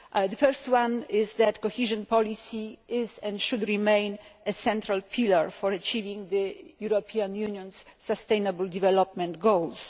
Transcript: The first is that cohesion policy is, and should remain, a central pillar for achieving the European Union's sustainable development goals.